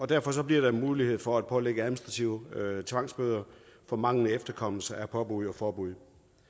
derfor bliver der mulighed for at pålægge administrative tvangsbøder for manglende efterkommelse af påbud og forbud